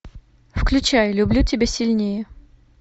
включай люблю тебя сильнее